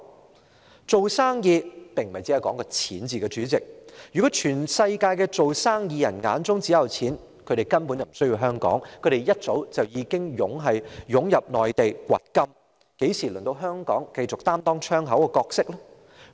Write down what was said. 主席，做生意並非單單講求金錢，如果全球的生意人眼中也只有錢，他們根本不需要香港，他們早已湧進內地掘金，怎會輪到香港繼續擔當窗口的角色呢？